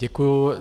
Děkuji.